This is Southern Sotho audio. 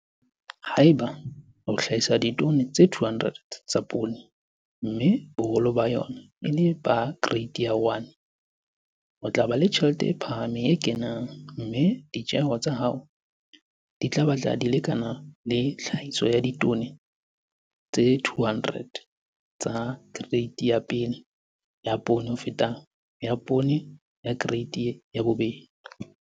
Haeba o hlahisa ditone tse 200 tsa poone, mme boholo ba yona e le ba kereiti ya 1, o tla ba le tjhelete e phahameng e kenang, mme ditjeho tsa hao di tla batla di lekana le tlhahiso ya ditone tse 200 tsa kereiti ya 1 ya poone ho feta ya poone ya kereiti ya 2.